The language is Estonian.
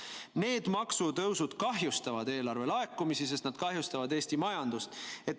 Need maksutõusud kahjustavad eelarvelaekumisi, sest nad kahjustavad Eesti majandust.